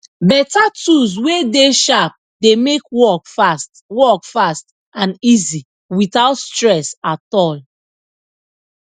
beta tools wey dey sharp dey make work fast work fast and easy witout stress at all